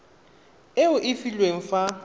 e o e filweng fa